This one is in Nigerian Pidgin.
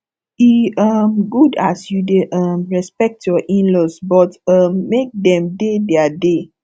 e um good as you dey um respect your inlaws but um make dem dey their dey